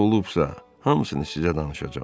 Nə olubsa, hamısını sizə danışacam.